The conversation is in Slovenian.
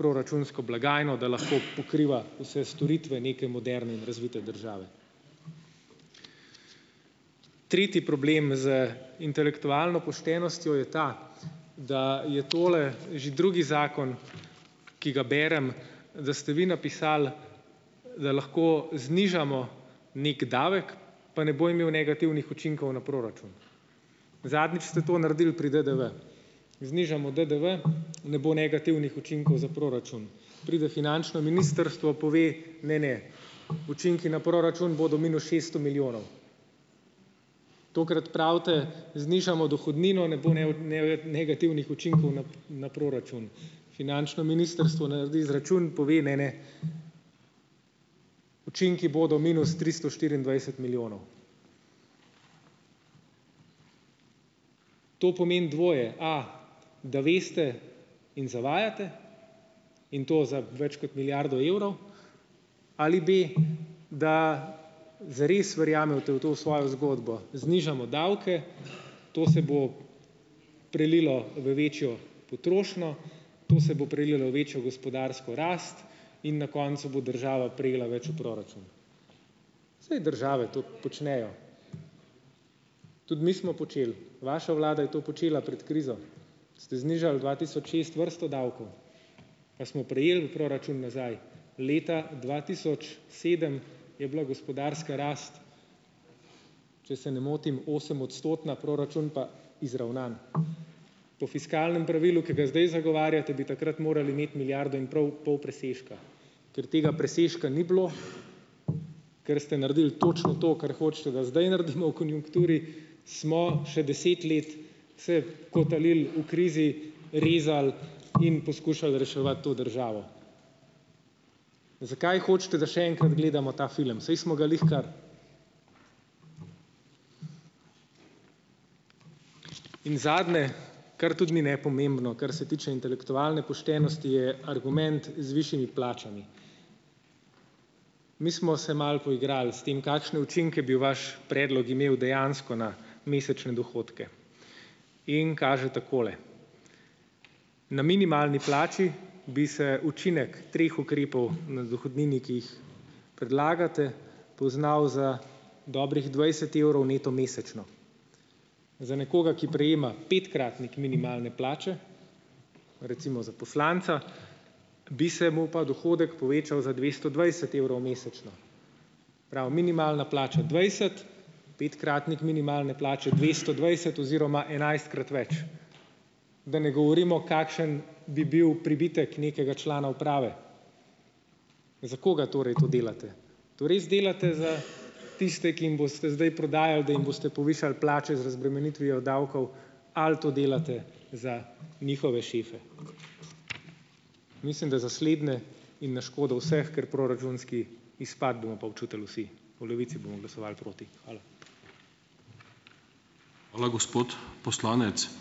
proračunsko blagajno, da lahko pokriva vse storitve neke moderne in razvite države. Tretji problem z intelektualno poštenostjo je ta, da je tole že drugi zakon, ki ga berem, da ste vi napisali, da lahko znižamo neki davek, pa ne bo imel negativnih učinkov na proračun. Zadnjič ste to naredil pri DDV. Znižamo DDV, ne bo negativnih učinkov za proračun. Pride finančno ministrstvo, pove: "Ne, ne, učinki na proračun bodo minus šeststo milijonov." Tokrat pravite: "Znižajmo dohodnino, ne bo negativnih učinkov na na proračun. Finančno ministrstvo naredi izračun, pove: "Ne, ne, učinki bodo minus tristo štiriindvajset milijonov." To pomeni dvoje: A, da veste in zavajate in to za več kot milijardo evrov, ali B, da zares verjamete v to v svojo zgodbo, znižamo davke, to se bo prelilo v večjo potrošnjo, to se bo prelilo v večjo gospodarsko rast in na koncu bo država prejela več v proračun. Saj države to počnejo, tudi mi smo počeli, vaša vlada je to počela pred krizo. Ste znižali dva tisoč šest vrsto davkov. A smo prejeli v proračun nazaj? Leta dva tisoč sedem je bila gospodarska rast, če se ne motim, osemodstotna, proračun pa izravnan. Po fiskalnem pravilu, ki ga zdaj zagovarjate, bi takrat morali imeti milijardo in prav pol presežka. Ker tega presežka ni bilo, ker ste naredili točno to, kar hočete, da zdaj naredimo v konjunkturi, smo še deset let se kotalili v krizi, rezali in poskušali reševati to državo. Zakaj hočete, da še enkrat gledamo ta film, saj smo ga glih kar? In zadnje, kar tudi ni nepomembno, kar se tiče intelektualne poštenosti, je argument z višjimi plačami. Mi smo se malo poigrali s tem, kakšne učinke bi vaš predlog imel dejansko na mesečne dohodke in kaže takole: na minimalni plači, bi se učinek treh ukrepov na dohodnini, ki jih predlagate, poznal za dobrih dvajset evrov neto mesečno. Za nekoga, ki prejema petkratnik minimalne plače, recimo za poslanca, bi se mu pa dohodek povečal za dvesto dvajset evrov mesečno. Se pravi, minimalna plača dvajset, petkratnik minimalne plače dvesto dvajset oziroma enajstkrat več. Da ne govorimo, kakšen bi bil pribitek nekega člana uprave. Za koga torej to delate? To res delate za tiste, ki jim boste zdaj prodajali, da jim boste povišali plače z razbremenitvijo davkov ali to delate za njihove šefe? Mislim, da za slednje in na škodo vseh, ker proračunski izpad bomo pa občutili vsi. V Levici bomo glasovali proti, hvala.